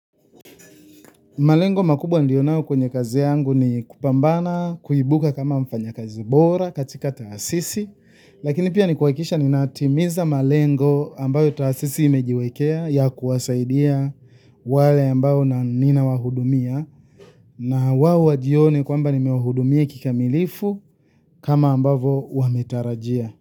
Malengo makubwa niliyo nayo kwenye kazi yangu ni kupambana kuibuka kama mfanyakazi bora katika taasisi, lakini pia ni kuhakikisha ninatimiza malengo ambayo taasisi imejiwekea ya kuwasaidia wale ambao ninawahudumia nao wajione kwamba nimewahudumia kikamilifu kama ambavyo wametarajia.